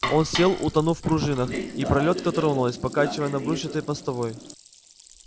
он сел утонув в пружинах и пролётка тронулась покачиваясь на брусчатой постовой